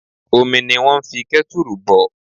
Omi ni wón ń fi kẹ́tùrù bọ̀